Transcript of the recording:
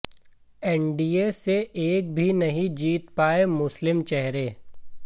NDA से एक भी नहीं जीत पाए मुस्लिम चेहरे